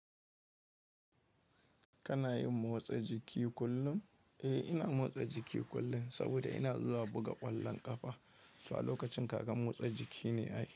Kana yin motsa jiki kullum? Eh, ina motsa jiki kullum saboda ina zuwa buga ƙwallon ƙafa. To a lokacin kaga motsa jiki ne ai.